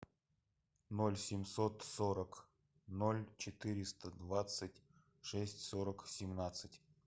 ноль семьсот сорок ноль четыреста двадцать шесть сорок семнадцать